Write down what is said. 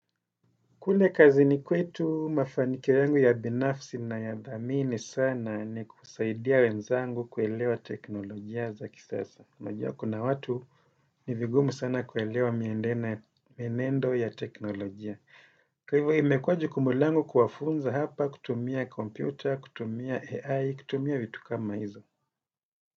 Kule kazini kwetu mafanikio yangu ya binafsi nayathamini sana ni kusaidia wenzangu kuelewa teknolojia za kisasa. Unajua kuna watu ni vigumu sana kuelewa mienendo ya teknolojia. Kwa hivyo imekuwa jukumu langu kuwafunza hapa kutumia kompyuta, kutumia AI, kutumia vitu kama hizo.